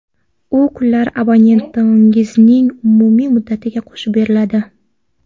U kunlar abonementingizning umumiy muddatiga qo‘shib beriladi.